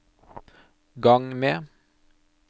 gang med